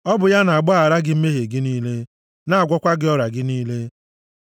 ọ bụ ya na-agbaghara gị mmehie gị niile; na-agwọkwa gị ọrịa gị niile,